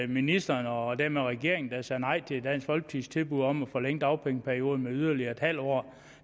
ministeren og dermed regeringen der sagde nej til dansk folkepartis tilbud om at forlænge dagpengeperioden med yderligere en halv år